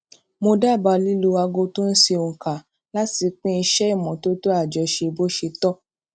mo dábàá lílo aago tó n ṣe ònkà láti pín iṣé ìmótótó àjọṣe bó ṣe tọ